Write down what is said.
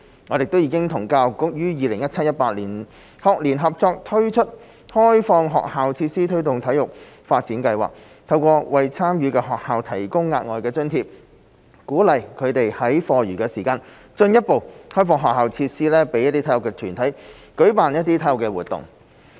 我們亦已經與教育局於 2017-2018 學年合作推出開放學校設施推動體育發展計劃，透過為參與的學校提供額外津貼，鼓勵他們在課餘時間進一步開放學校設施予體育團體舉辦體育活動。